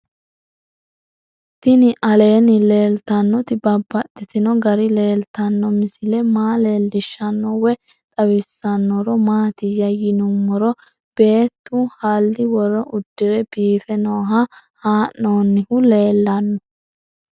Tinni aleenni leelittannotti babaxxittinno garinni leelittanno misile maa leelishshanno woy xawisannori maattiya yinummoro beettu halii woro udirre biiffe nooha ha'noonnihu leelanno